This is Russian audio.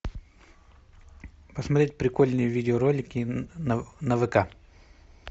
посмотреть прикольные видеоролики на вк